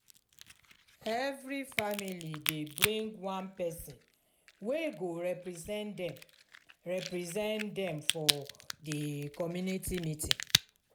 every family dey bring one pesin wey go represent dem represent dem for di community meeting.